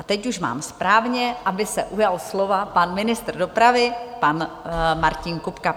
A teď už mám správně, aby se ujal slova pan ministr dopravy, pan Martin Kupka.